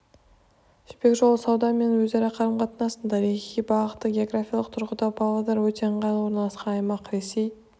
жібек жолы сауда мен өзара қарым-қатынастың тарихи бағыты географиялық тұрғыда павлодар өте ыңғайлы орналасқан аймақ ресей